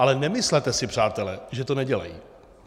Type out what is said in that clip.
Ale nemyslete si, přátelé, že to nedělají.